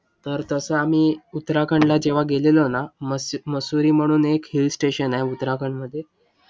तर तसं आम्ही उत्तराखंडला जेंव्हा गेलेलो ना, मसुरी म्हणून एक hill station आहे उत्तराखंडमध्ये.